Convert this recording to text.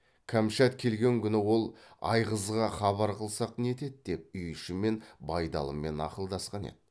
кәмшат келген күні ол айғызға хабар қылсақ нетеді деп үй ішімен байдалымен ақылдасқан еді